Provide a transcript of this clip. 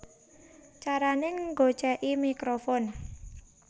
Carané Nggocèki Mikrofon